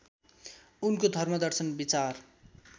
उनको धर्मदर्शन विचार